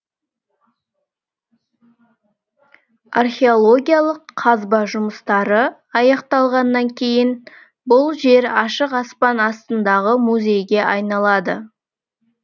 археологиялық қазба жұмыстары аяқталғаннан кейін бұл жер ашық аспан астындағы музейге айналады